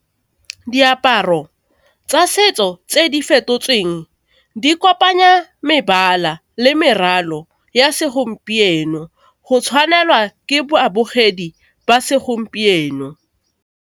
Diaparo tsa setso tse di fetotsweng di kopanya mebala le meraro ya segompieno go tshwanelwa ke babogedi ba segompieno.